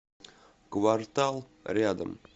квартал рядом